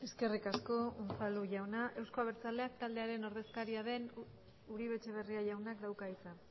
eskerrik asko unzalu jauna euzko abertzaleak taldearen ordezkaria den uribe etxebarria jaunak dauka hitza